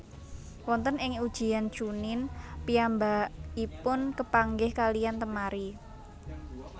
Wonten ing Ujian Chuunin piyambakipun kepanggih kaliyan Temari